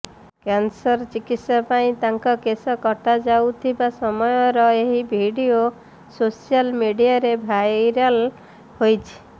cancer ଚିକିତ୍ସା ପାଇଁ ତାଙ୍କ କେଶ କଟାଯାଉଥିବା ସମୟର ଏହି ଭିଡ଼ିଓ ସୋସିଆଲ ମିଡିଆରେ ଭାଇରାଲ ହୋଇଛି